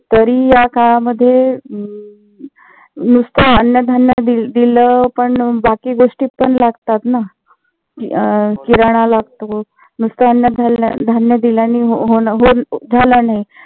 तरी याकाळामध्ये नुस्त अन्न धान्य दिल पण बाकी गोष्टी पण लागतात ना, अं किरणा लागतो. नुस्त अन्न धान्य दिल्याने होण झालं नाही